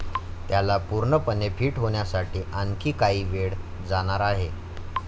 त्याला पूर्णपणे फिट होण्यासाठी आणखी काही वेळ जाणार आहे.